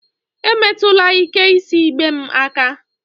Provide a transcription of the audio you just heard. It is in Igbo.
Emetụla ike isi igbe m aka!